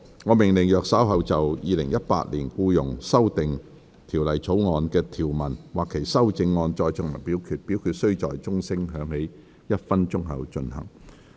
我命令若稍後就《2018年僱傭條例草案》的條文或其修正案再進行點名表決，表決須在鐘聲響起1分鐘後進行。